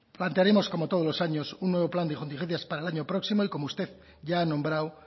plantearemos como todos los años un nuevo plan de contingencias para el año próximo y como usted ya ha nombrado